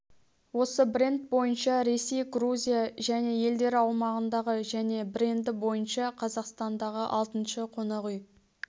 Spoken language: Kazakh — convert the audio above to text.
осы бренд бойынша ресей грузия және елдері аумағындағы және бренді бойынша қазақстандағы алтыншы қонақ үй